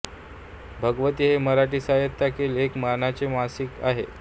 भगवती हे मराठी साहित्यातील एक मानाचे मासिक आहे